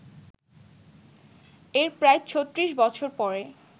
এর প্রায় ৩৬ বছর পরে